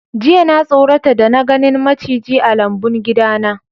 Jiya na sorata da na ganin maciji a lambun gida na.